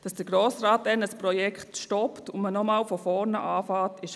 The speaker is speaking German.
Was ist besser oder schlechter?